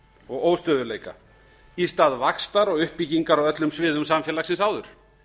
og óstöðugleika í stað vaxtar og uppbyggingar á öllum sviðum samfélagsins áður